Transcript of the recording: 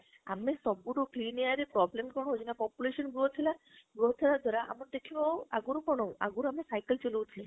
ଆମେ ସବୁଠୁ clear air ରେ problem କଣ ହଉଛି ନା population growth ହେଲା ହେବ ଦ୍ୱାରା ତମେ ଦେଖିବ ଆଗରୁ କଣ ଆଗରୁ ଆମେ cycle ଚଲଉଥିଲେ